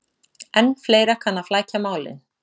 En fleira kann að flækja málin.